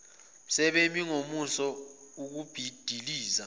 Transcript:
sebemi ngomumo ukubhidliza